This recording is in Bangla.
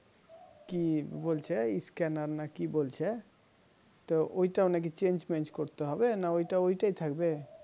কি বলছে scanner নাকি বলছে তো ওইটাও নাকি change মেজ করতে হবে না ওটা ওটাই থাকবে